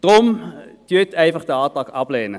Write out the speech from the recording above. Lehnen Sie deshalb den Antrag ab.